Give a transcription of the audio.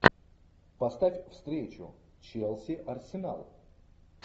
поставь встречу челси арсенал